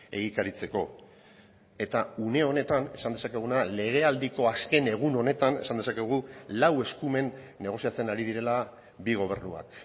egikaritzeko eta une honetan esan dezakeguna legealdiko azken egun honetan esan dezakegu lau eskumen negoziatzen ari direla bi gobernuak